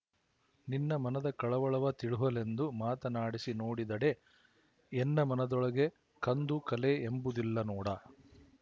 ನಿನ್ನ ಮನದ ಕಳವಳವ ತಿಳುಹಲೆಂದು ಮಾತನಾಡಿಸಿ ನೋಡಿದಡೆ ಎನ್ನ ಮನದೊಳಗೆ ಕಂದು ಕಲೆ ಎಂಬುದಿಲ್ಲ ನೋಡಾ